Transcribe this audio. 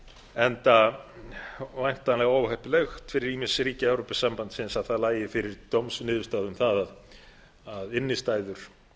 enda væntanlega óheppilegt fyrir ýmis ríki evrópusambandsins að það liggi fyrir dómsniðurstaða um það að innstæður